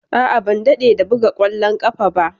A'a, ban dade da buga ƙwallon ƙafa ba.